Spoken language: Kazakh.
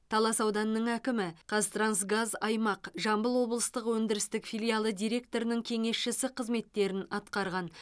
талас ауданының әкімі қазтрансгаз аймақ жамбыл облыстық өндірістік филиалы директорының кеңесшісі қызметтерін атқарған